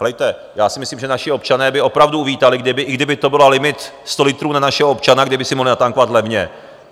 Heleďte, já si myslím, že naši občané by opravdu uvítali, i kdyby to byl limit 100 litrů na našeho občana, kdyby si mohli natankovat levně.